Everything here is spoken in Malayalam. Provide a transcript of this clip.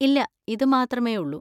ഇല്ല, ഇത് മാത്രമേ ഉള്ളു.